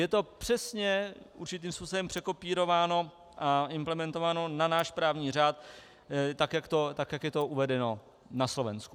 Je to přesně určitým způsobem překopírováno a implementováno na náš právní řád, tak jak je to uvedeno na Slovensku.